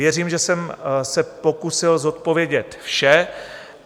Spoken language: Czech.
Věřím, že jsem se pokusil zodpovědět vše.